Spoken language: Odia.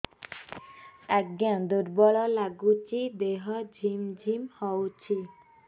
ଆଜ୍ଞା ଦୁର୍ବଳ ଲାଗୁଚି ଦେହ ଝିମଝିମ ହଉଛି